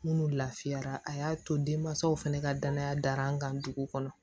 Minnu lafiyara a y'a to denmansaw fana ka danaya dar'an kan dugu kɔnɔ